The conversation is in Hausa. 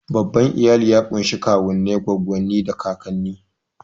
Babban iyali ya ƙunshi kawunnai, goggonni, da kakanni.